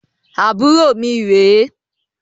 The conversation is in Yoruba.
Àbúrò mi rè e